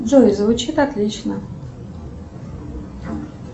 джой звучит отлично